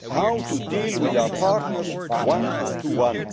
How do we deal with our partners, one to one?